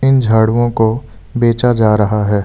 इन झाड़ूओ को बेचा जा रहा है।